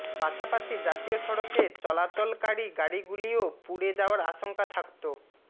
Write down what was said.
পাশাপাশি জাতীয় সড়কে চলাচলকারী গাড়ি গুলিও পুড়ে যাওয়ার আশঙ্কা থাকত